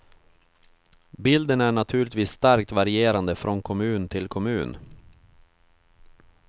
Bilden är naturligtvis starkt varierande från kommun till kommun.